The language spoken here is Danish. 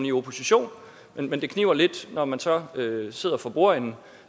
i opposition men det kniber lidt når man så sidder for bordenden